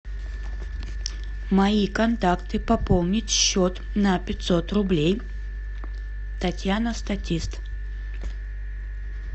мои контакты пополнить счет на пятьсот рублей татьяна статист